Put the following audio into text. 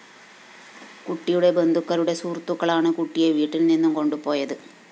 കുട്ടിയുടെ ബന്ധുക്കളുടെ സുഹൃത്തുക്കളാണ് കുട്ടിയെ വീട്ടില്‍ നിന്നും കൊണ്ടുപോയത്